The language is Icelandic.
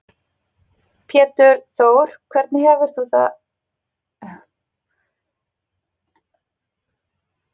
Pétur Þór Hvernig heldur þú að Gumma Ben eigi eftir að vegna með Selfyssinga?